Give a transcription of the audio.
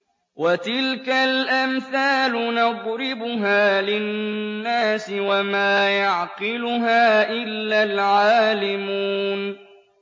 وَتِلْكَ الْأَمْثَالُ نَضْرِبُهَا لِلنَّاسِ ۖ وَمَا يَعْقِلُهَا إِلَّا الْعَالِمُونَ